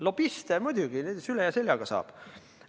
Lobiste muidugi süle ja seljaga saab.